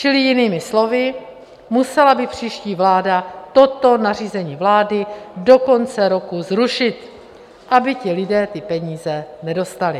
Čili jinými slovy, musela by příští vláda toto nařízení vlády do konce roku zrušit, aby ti lidé ty peníze nedostali.